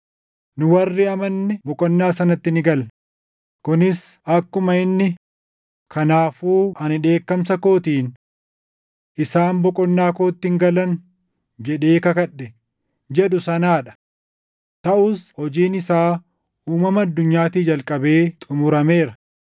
Nu warri amanne boqonnaa sanatti ni galla; kunis akkuma inni, “Kanaafuu ani dheekkamsa kootiin, ‘Isaan boqonnaa kootti hin galan’ jedhee kakadhe” + 4:3 \+xt Far 95:11\+xt* jedhu sanaa dha. Taʼus hojiin isaa uumama addunyaatii jalqabee xumurameera.